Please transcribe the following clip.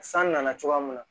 San nana cogoya min na